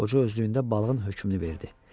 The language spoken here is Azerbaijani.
Qoca özlüyündə balığın hökmünü verdi.